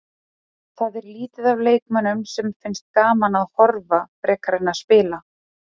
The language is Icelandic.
Það er lítið af leikmönnum sem finnst gaman að horfa frekar en að spila.